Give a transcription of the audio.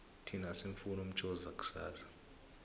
thina asimufuni umshoza kusasa